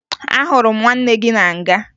Ahụrụ m nwanne gị na nga